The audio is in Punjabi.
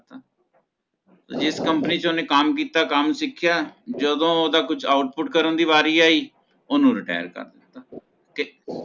ਜਿਸ Company ਚ ਓਹਨੇ ਕਮ ਕੀਤਾ ਕਮ ਸਿਖਯਾ ਜਦੋਂ ਓਹਦਾ ਕੋਈ Output ਕਰਨ ਦੀ ਵਾਰੀ ਆਈ ਓਹਨੂੰ Retire ਕਰ ਦਿੱਤਾ ਤੇ